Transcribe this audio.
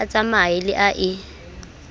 a tsamaye le a e